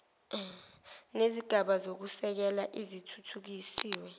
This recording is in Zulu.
nezigaba zokusekela ezithuthukisiwe